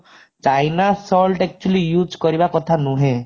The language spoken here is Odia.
china salt actually use କରିବା କଥା ନୁହେଁ